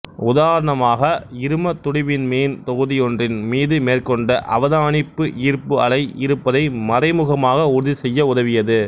உதாரணமாக இரும துடிவிண்மீன் தொகுதியொன்றின் மீது மேற்கொண்ட அவதானிப்பு ஈர்ப்பு அலை இருப்பதை மறைமுகமாக உறுதிசெய்ய உதவியது